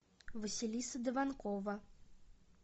василиса дованкова